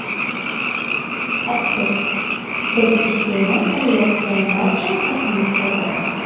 Oqsil biz iste’mol qilayotgan barcha ovqatimizda bor.